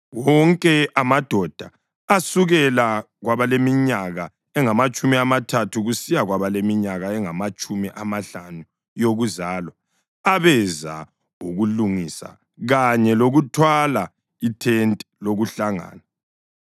Wonke amadoda asukela kwabaleminyaka engamatshumi amathathu kusiya kwabaleminyaka engamatshumi amahlanu yokuzalwa abeza ukulungisa kanye lokuthwala ithente lokuhlangana